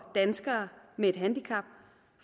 danskere med et handicap